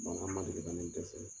man deli ka ne dɛsɛ.